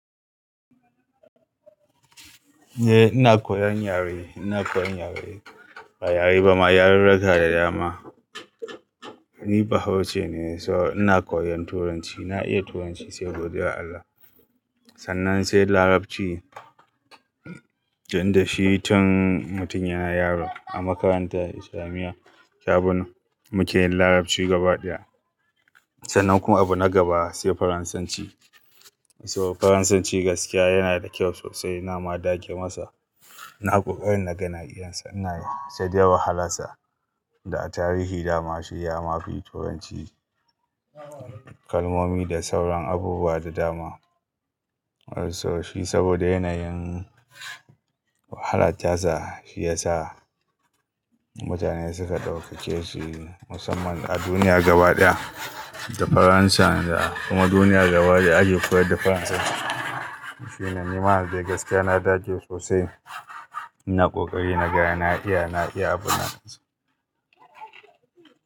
Eh ina koyan yare, ina koyan yare, ba yare ba ma, yarurruka da dama. Ni bahaushe ne so ina koyan Turanci. Na iya Turanci sai gobe, ya Allah. Sannan sai Larabci, tunnda shi tun mutunya na yaro a makaranta islamiyya abuna muke yin Larabci gaba ɗaya. Sannan kuma abu na gaba sai Faransanci. So Faransanci gaskiya yana da kyau sosai ina ma dage masa. Na ƙoƙarin naga na iyasa ina sadai wahalarsa da tarihi dama shi ya mafi Turanci kalmomi da sauran abubuwa da dama. So shi saboda yanayin wahalar tasa shi ya sa mutane suka ɗaukace shi musamman a duniya gaba ɗaya da Faransa kuma duniya gaba ɗaya ake koyar da Faransa. Shi nan ni ma yanzu dai gaskiya na dage sosai, ina ƙoƙari naga na iya, na iya abu na gaske.